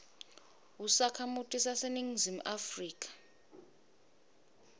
usakhamuti saseningizimu afrika